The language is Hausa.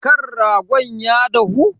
Kan ragon ya dahu?